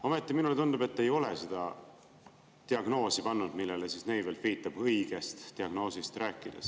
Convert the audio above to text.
Ometi minule tundub, et te ei ole seda diagnoosi pannud, millele Neivelt viitab, õigest diagnoosist rääkides.